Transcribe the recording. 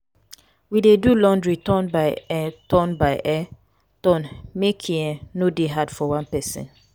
we dey do laundry turn by um turn by um turn make e um no dey hard for one pesin.